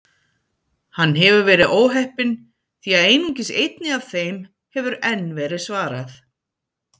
Hann hefur verið óheppinn því að einungis einni af þeim hefur enn verið svarað.